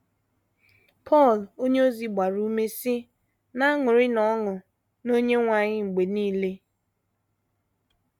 Pọl onyeozi gbara ume, sị: “ Na - aṅụrịnụ ọṅụ n’Onyenwe anyị mgbe nile:...